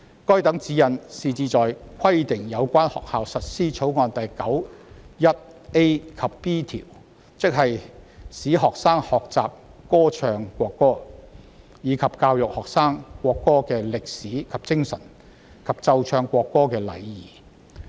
該等指示旨在規定有關學校實施《條例草案》第 91a 及 b 條，即"使學生學習歌唱國歌；及以教育學生國歌的歷史及精神；及奏唱國歌的禮儀"。